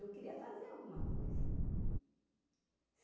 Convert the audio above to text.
Eu queria fazer alguma coisa.